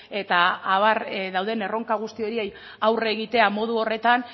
eta abar dauden erronka guzti horiei aurre egitea modu horretan